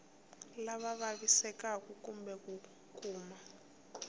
lava vavisekaku kumbe ku kuma